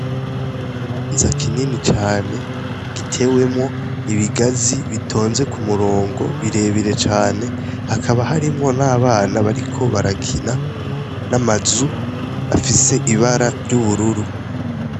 N'ikibanza kinini cane gitewemwo ibigazi bitonze ku murungo birebire cane hakaba harimwo n'abana bariko barakina n'amazu afise ibara ry'ubururu.